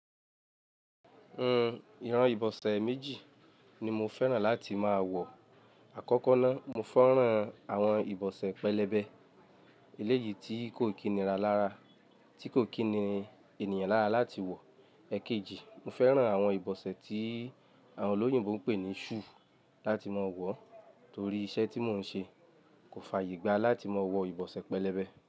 Uhm, ìran ìbọ̀sẹ̀ méjì ni mo fẹ́ràn láti máa wọ̀. Àkọ́kọ́ náà, mo fẹ́ràn àwọn ìbọ̀sẹ̀ pẹlẹbẹ, eléyìí tí kò kíni ra lára, tí kò kíni ènìyàn lára láti wọ̀. Ẹ̀kéjì, mo fẹ́ràn àwọn ìbọ̀sẹ̀ tí àwọn olóyìnbo ń pè ní shoe láti máa wọ̀ torí iṣẹ́ tí mò ń ṣe kò fàyè gbá láti máa wọ ìbọ̀sẹ̀ pẹlẹbẹ.